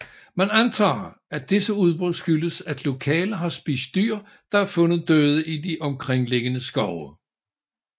Man antager at disse udbrud skyldes at lokale har spist dyr der er fundet døde i de omkringliggende skove